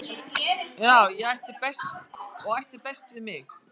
og ætti best við mig